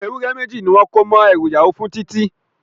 Ewúré méjì ni wọ́n kó mọ́ ẹrú ìyàwó fún Titi